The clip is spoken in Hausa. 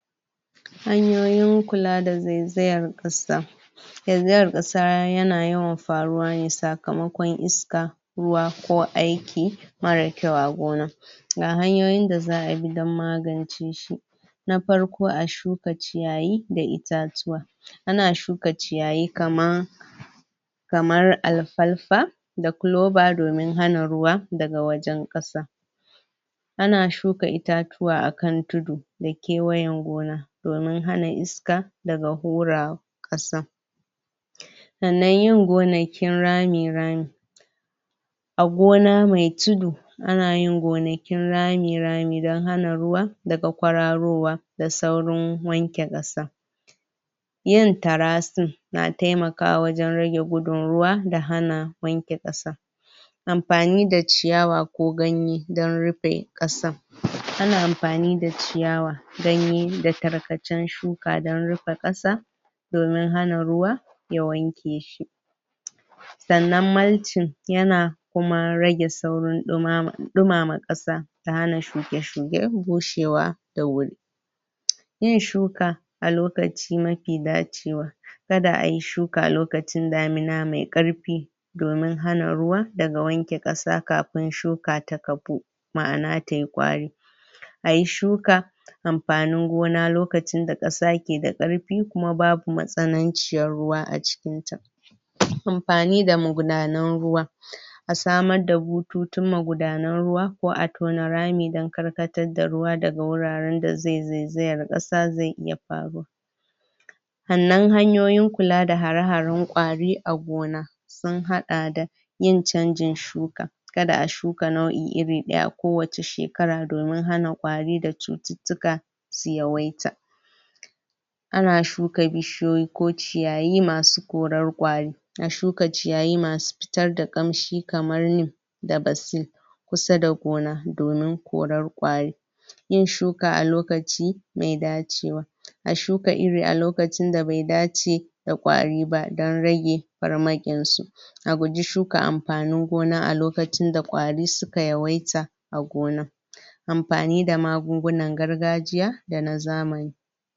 Hanyoyin kula da zaizayar ƙasa zaizayar ƙasa ya na yawan faruwa ne sakamakon iska ruwa ko aiki mara kyau a gona, ga hanyoyin da za'a bi don magance shi: Na farko a shuka ciyayi da itatuwa, ana shuka ciyayi kaman kamar alfalfa da culoba domin hana ruwa daga wajen ƙasa, ana shuka itatuwa akan tudu da kewayen gona domin hana iska daga hura ƙasa, sannan yin gonakin rami-rami a gona mai tudu, ana yin gonakin rami-rami don hana ruwa daga kwararowa, da saurin wanke ƙasa, yin trasting na taimakawa wajen rage gudun ruwa da hana wanke ƙasa, amfani da ciyawa ko ganye don rufe ƙasan, ana amfani da ciyawa danyi da tarkacen shuka don rufe ƙasa domin hana ruwa ya wanke shi, sannan malting ya na kuma rage saurin ɗumama...ɗumama ƙasa da hana shuke-shuke bushewa da wuri, yin shuka a lokaci mafi dacewa kada ai shuka lokacin damuna mai ƙarfi domin hana ruwa daga wanke ƙasa kafin shuka ta kafu, ma'ana tai ƙwari, ayi shuka amfanin gona lokacin da ƙasa keda ƙarfi kuma babu matsananciyar ruwa a cikinta, amfani da magudanan ruwa a samar da bututun magudanan ruwa ko a tona rami don karkatar da ruwa daga wuraren da zai zaizayar ƙasa zai iya faruwa, sannan hanyoyin kula da hare-haren ƙwari a gona sun haɗa da yin canjin shuka, kada a shuka nau'i irin ɗaya kowace shekara domin hana ƙwari da cututtuka su yawaita, ana shuka bishiyoyi ko ciyayi masu korar ƙwari, a shuka ciyayi masu fitar da ƙanshi kamar lee da basea kusa da gona domin korar ƙwari, yin shuka a lokaci mai dacewa a shuka iri a lokacin da bai dace da ƙwari ba don rage farmakinsu, a guji shuka amfanin gona a lokacin da ƙwari suka yawaita a gona, amfani da magungunan gargajiya da na zamani.